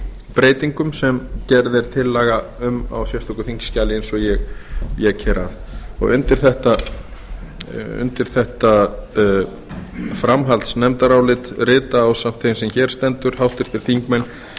breytingum sem gerð er tillaga um á sérstöku þingskjali eins og ég vék að undir þetta framhaldsnefndarálit rita ásamt þeim sem hér stendur háttvirtir þingmenn